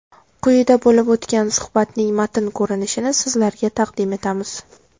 Quyida bo‘lib o‘tgan suhbatning matn ko‘rinishini sizlarga taqdim etamiz.